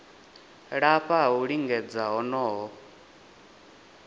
lafha ha u lingedza honoho